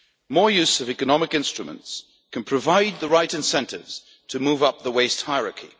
More use of economic instruments can provide the right incentives to move up the waste hierarchy.